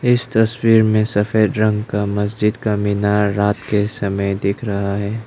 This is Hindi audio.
इस तस्वीर में सफेद रंग का मस्जिद का मीनार रात के समय दिख रहा है।